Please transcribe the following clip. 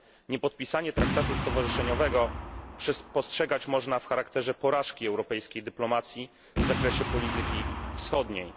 Niepodpisanie traktatu stowarzyszeniowego postrzegać można jako porażkę europejskiej dyplomacji w zakresie polityki wschodniej.